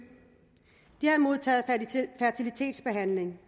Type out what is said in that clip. de havde modtaget fertilitetsbehandling